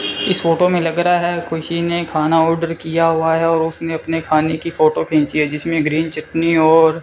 इस फोटो में लग रहा है खुसी ने खाना ऑर्डर किया हुआ है और उसने अपने खाने की फोटो खींची है जिसमें ग्रीन चटनी और --